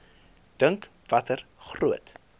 dink watter groot